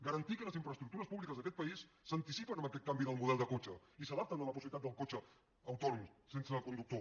garantir que les infraestructures públiques d’aquest país s’anticipen a aquest canvi del model de cotxe i s’adapten a la possibilitat del cotxe autònom sense conductor